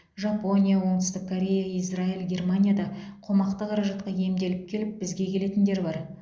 жапония оңтүстік корея израиль германияда қомақты қаражатқа емделіп келіп бізге келетіндер бар